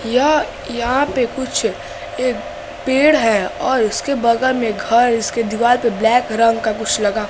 यह यहां पे कुछ ये पेड़ है और उसके बगल में घर इसके दीवाल पे ब्लैक रंग का कुछ लगा--